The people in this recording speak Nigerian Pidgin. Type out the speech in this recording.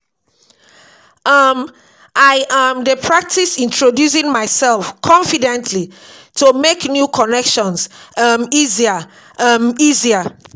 um I um dey practice introducing myself confidently to make new connections um easier. um easier.